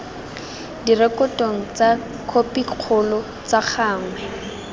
direkotong tsa khopikgolo ka gangwe